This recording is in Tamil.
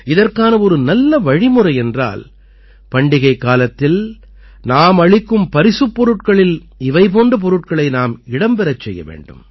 இதற்கான ஒரு நல்ல வழிமுறை என்றால் பண்டிகைக்காலத்தில் நாம் அளிக்கும் பரிசுப் பொருட்களில் இவை போன்ற பொருட்களை நாம் இடம் பெறச் செய்ய வேண்டும்